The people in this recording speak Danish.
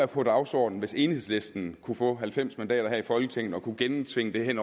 på dagsordenen hvis enhedslisten kunne få halvfems mandater her i folketinget og kunne gennemtvinge det